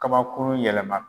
Kabauru yɛlɛma